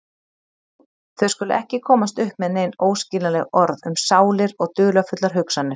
Þau skulu ekki komast upp með nein óskiljanleg orð um sálir og dularfullar hugsanir.